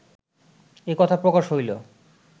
এ কথা প্রকাশ হইল